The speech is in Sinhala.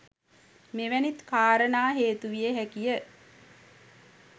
මෙවැනි කාරණා හේතුවිය හැකිය.